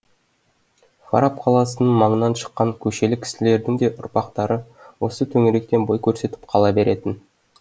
фараб қаласының маңынан шыққан көшелі кісілердің де ұрпақтары осы төңіректен бой көрсетіп қала беретін